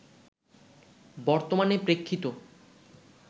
বর্তমানে প্রেক্ষিত